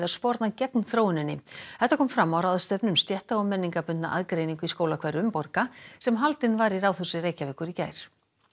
sporna gegn þróuninni þetta kom fram á ráðstefnu um stétta og aðgreiningu í skólahverfum borga sem haldin var í Ráðhúsi Reykjavíkur í gær